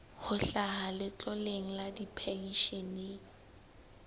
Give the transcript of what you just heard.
ho hlaha letloleng la dipenshene